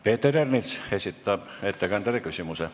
Peeter Ernits esitab ettekandjale küsimuse.